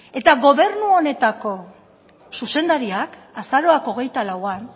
eta gobernu honetako zuzendariak azaroak hogeita lauan